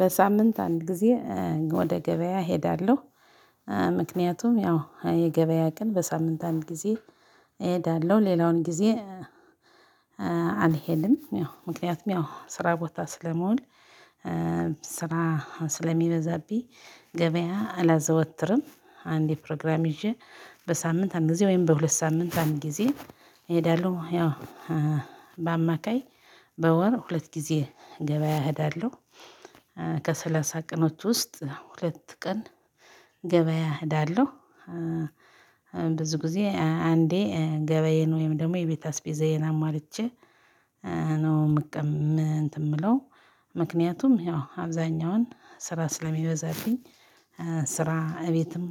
በሳምንት አንድ ጊዜ ወደ ገበያ እሄዳለሁ። ምክንያቱም ያው የገበያ ቀን በሳምንት አንድ ጊዜ እሄዳለሁ ሌላውን ጊዜ አልሄድም። ያው ምክንያቱም ያው ስራ ቦታ ስለምሆን ስራ ስለሚበዛብኝ። ገበያ አላዘወትርም አንዴ ፕሮግራም ይዤ በሳምንት አንድ ጊዜ ወይም በሁለት ሳምንት አንድ ጊዜ እሄዳለሁ። ያው በአማካይ በወር ሁለት ጊዜ ገበያ እሄዳለሁ። ከሰላሳ ቀኖች ውስጥ ሁለት ቀን ገበያ እሄዳለሁ። ብዙ ጊዜ አንዴ ገበዬን ወይም ደግሞ የቤት አስቤዛዬን አሟልቼ ነው ምን የምቅ እንትን የምለው? ምክንያቱም ያው አብዛኛውን ስራ ስለሚበዛብኝ። ስራ እቤትም